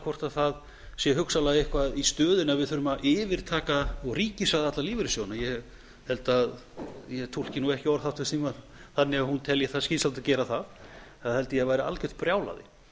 hvort það sé hugsanlega eitthvað í stöðunni að við þurfum að yfirtaka og ríkisvæða alla lífeyrissjóðina ég held að ég taki ekki orð háttvirts þingmanns þannig að hún telji skynsamlegt að gera það það held ég að væri algjört brjálæði